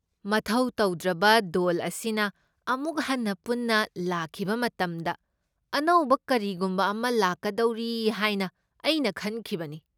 ꯃꯊꯧ ꯇꯧꯗ꯭ꯔꯕ ꯗꯣꯜ ꯑꯁꯤꯅ ꯑꯃꯨꯛ ꯍꯟꯅ ꯄꯨꯟꯅ ꯂꯥꯛꯈꯤꯕ ꯃꯇꯝꯗ ꯑꯅꯧꯕ ꯀꯔꯤꯒꯨꯝꯕ ꯑꯃ ꯂꯥꯛꯀꯗꯧꯔꯤ ꯍꯥꯏꯅ ꯑꯩꯅ ꯈꯟꯈꯤꯕꯅꯤ꯫